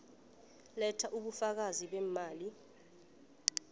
letha ubufakazi beemali